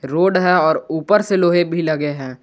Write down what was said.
Road है और ऊपर से लोहे भी लगे हैं।